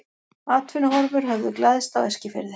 Atvinnuhorfur höfðu glæðst á Eskifirði.